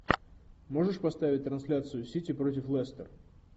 можешь поставить трансляцию сити против лестер